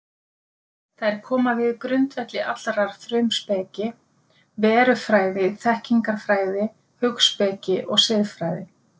Þær koma við grundvelli allrar frumspeki, verufræði, þekkingarfræði, hugspeki og siðfræði.